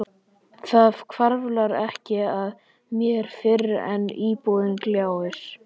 Það hvarflar ekki að mér fyrr en íbúðin gljáir.